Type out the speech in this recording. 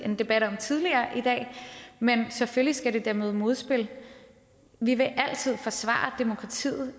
en debat om tidligere i dag men selvfølgelig skal det da møde modspil vi vil i altid forsvare demokratiet